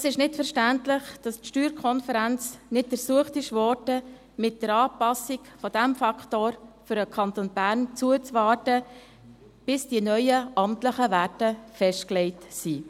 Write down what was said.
Es ist nicht verständlich, dass die SSK nicht ersucht wurde, mit der Anpassung dieses Faktors für den Kanton Bern zuzuwarten, bis die neuen amtlichen Werte festgelegt sind.